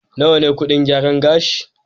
Nawa ne kuɗin gyaran gashi?